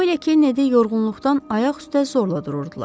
Co ilə Kennedi yorğunluqdan ayaq üstə zorla dururdular.